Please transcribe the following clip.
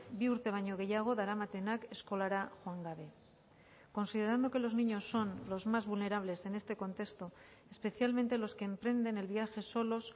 bi urte baino gehiago daramatenak eskolara joan gabe considerando que los niños son los más vulnerables en este contexto especialmente los que emprenden el viaje solos